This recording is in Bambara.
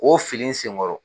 Ko fili n sen kɔrɔ